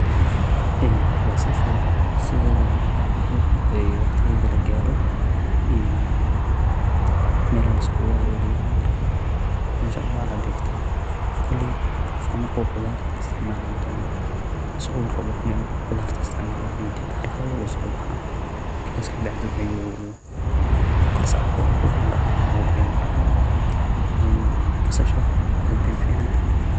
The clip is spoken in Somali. Basasha siddeedaba marka ay baxdo oo waqtigeeda la gaaro meel ayaa la isugu aruuryaa. Markaas meesha ayaa cabbaar la dhigtaa. Kolley qofka marka uu qudarta isticmaali doono, sida uu rabo ayuu hal-hal ula soo baxaa. Markaas ka bacdii ayuu maraq ahaan ugu diga. Marka basasha aad ayey u fiican tahay.